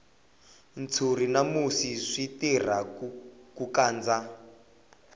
ntshuri na musi swi tirha ku kandza